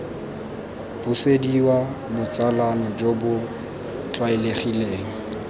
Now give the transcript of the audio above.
busediwa botsalano jo bo tlwaelegileng